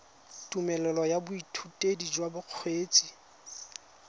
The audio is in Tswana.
tumelelo ya boithutedi jwa bokgweetsi